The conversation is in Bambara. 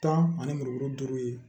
Tan ani muru duuru